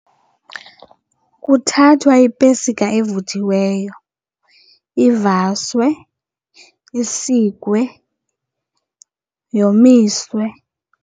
Kuthathwa ipesika evuthiweyo ivaswe, isikwe, yomiswe.